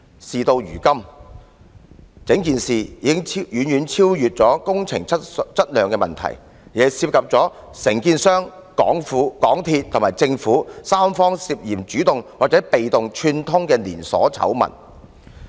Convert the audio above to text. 事到如今，整件事已經遠遠不止是工程質量的問題，而是涉及承建商、港鐵公司和政府三方涉嫌主動或被動串通的連鎖醜聞。